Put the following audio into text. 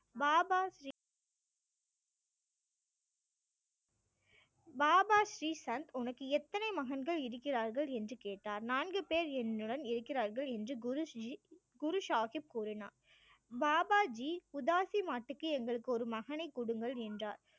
பாபா ஸ்ரீ சந்த் உனக்கு எத்தனை மகன்கள் இருக்கிறார்கள் என்று கேட்டார் நான்கு பேர் என்னுடன் இருக்கிறார்கள் என்று குரு ஸ்ரீ குரு சாஹிப் கூறினார் பாபாஜி எங்களுக்கு ஒரு மகனை கொடுங்கள் என்றார்